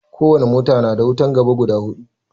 Ko wani mota na da wutan gaba guda hudu